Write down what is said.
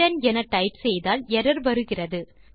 ஆர்த்தான் என டைப் செய்தால் எர்ரர் வருகிறது